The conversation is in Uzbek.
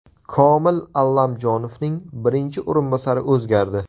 Komil Allamjonovning birinchi o‘rinbosari o‘zgardi.